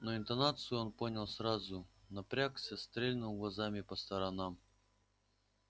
но интонацию он понял сразу напрягся стрельнул глазами по сторонам